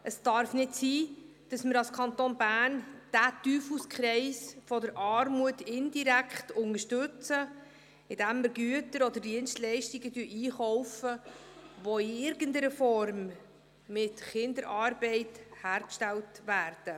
Es darf nicht sein, dass wir als Kanton Bern diesen Teufelskreis der Armut indirekt unterstützen, indem wir Güter oder Dienstleistungen einkaufen, die in irgendeiner Form mit Kinderarbeit hergestellt werden.